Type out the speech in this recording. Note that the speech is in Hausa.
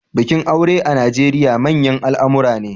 Bikin aure a Najeriya manyan al'amura ne.